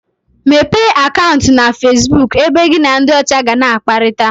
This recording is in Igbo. Mepee Akantu na Facebook ebe gị na ndị ọcha ga na akparita